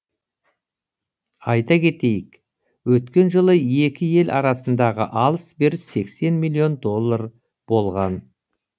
айта кетейік өткен жылы екі ел арасындағы алыс беріс сексен миллион доллар болған